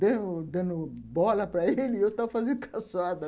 dando dando bola para ele (riso( e eu tava fazendo calçada.